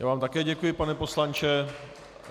Já vám také děkuji, pane poslanče.